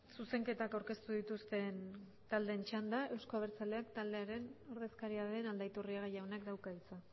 zuzenketak aurkeztu dituzten taldeen txanda euzko abertzaleak taldearen ordezkaria den aldaiturriaga jaunak dauka hitza